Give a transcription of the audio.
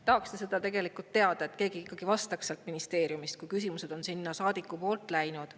Tahaksin teada, et keegi ikkagi vastaks sealt ministeeriumist, kui küsimused on sinna saadiku poolt läinud.